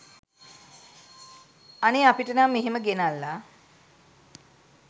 අනේ අපිට නම් එහෙම ගෙනල්ලා